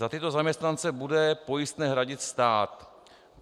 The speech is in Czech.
Za tyto zaměstnance bude pojistné hradit stát.